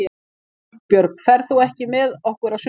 Jónbjörg, ferð þú með okkur á sunnudaginn?